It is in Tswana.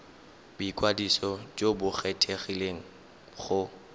boikwadiso jo bo kgethegileng go